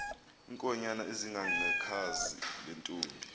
iinkonyan ezingangekhazi lentomb